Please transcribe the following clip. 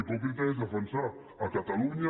hipòcrita és defensar a catalunya